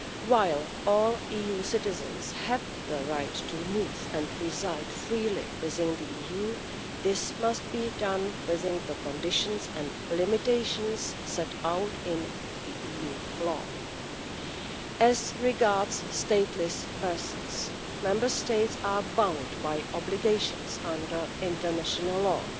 While all EU citizens have the right to move and reside freely within the EU, this must be done within the conditions and limitations set out in EU law. As regards stateless persons, Member States are bound by obligations under international law.